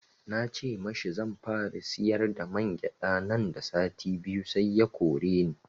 Na ce mashi zanfara siyar da mangyaɗa nan da sati biyu sai ya koreni